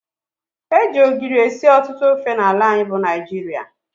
Eji ogiri esị ọtụtụ ofe n' ala anyị bụ Naijiria.